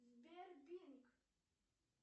сбер бинг